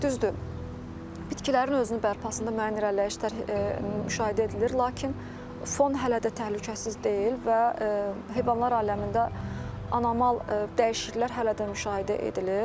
Düzdür, bitkilərin özünü bərpasında müəyyən irəliləyişlər müşahidə edilir, lakin fon hələ də təhlükəsiz deyil və heyvanlar aləmində anormal dəyişikliklər hələ də müşahidə edilir.